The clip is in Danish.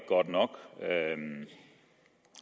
godt nok og at